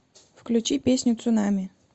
включи песню цунами